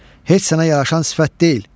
Heç sənə yaraşan sifət deyil.